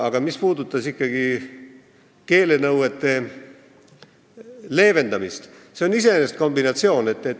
Aga mis puudutab keelenõuete leevendamist, siis tuleb öelda, et see on iseenesest kombinatsioon.